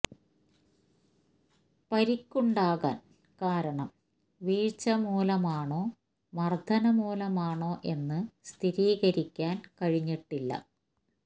പരിക്കുണ്ടാകാന് കാരണം വീഴ്ച മൂലമാണോ മര്ദ്ദനം മൂലമാണോ എന്ന് സ്ഥിരീകരിക്കാന് കഴിഞ്ഞിട്ടില്ല